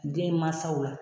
Den mansaw la.